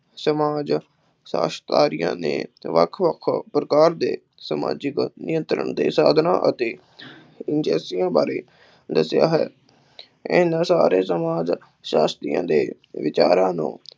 ਸਮਾਜ ਸ਼ਾਸਤਰੀਆਂ ਨੇ ਵੱਖ-ਵੱਖ ਪ੍ਰਕਾਰ ਦੇ ਸਮਾਜਿਕ ਨਿਯੰਤਰਣ ਦੇ ਸਾਧਨਾ ਅਤੇ ਬਾਰੇ ਦਸਿਆ ਹੈ। ਇਹਨਾਂ ਸਾਰੇ ਸਮਾਜ ਸ਼ਾਸਤਰੀਆਂ ਦੇ ਵਿਚਾਰਾਂ ਨੂੰ